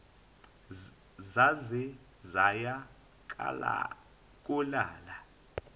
zaze zaya kolala